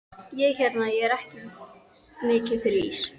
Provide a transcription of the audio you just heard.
Ég hérna. ég er ekki mikið fyrir ís.